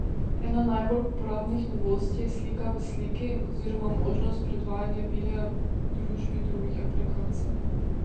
Ena najbolj uporabnih novosti je slika v sliki oziroma možnost predvajanja videa v družbi drugih aplikacij.